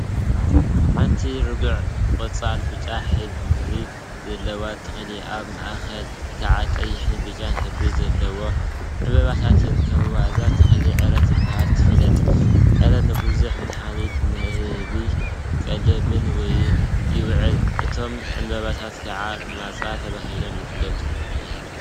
ሓንቲ ረጒድ ቆፃልን ብጫን ሕብሪ ዘለዎ ተክሊ አብ ማእከላ ከዓ ቀይሕን ብጫን ሕብሪ ዘለዎም ዕምበባታት ይርከቡዋ፡፡ እዛ ተክሊ ዕረ ተባሂላ ትፍለጥ፡፡ ዕረ ንቡዙሕ መድሓኒትን ንንህቢ ቀለብን ይውዕል፡፡ እቶም ዕምበባታት ከዓ ማፃ ተባሂሎም ይፍለጡ፡፡